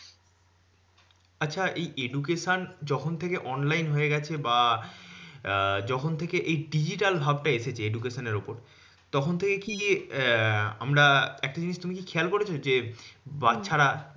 আচ্ছা এই education যখন থেকে online হয়ে গেছে বা যখন থেকে এই digital ভাব টা এসেছে education এর উপর তখন কি ইয়ে আমরা একটা জিনিস তুমি কি খেয়াল করেছো? যে বাচ্চারা